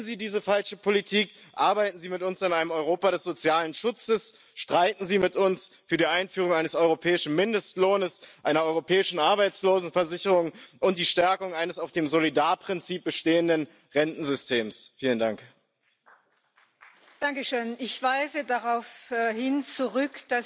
qui s'ouvre, avec la numérisation, la robotisation et aussi les flux migratoires économiques, nous impose d'être très attentifs et surtout très rigoureux. Le système complémentaire européen qui nous est proposé par la Commission ne pourra, hélas, profiter aux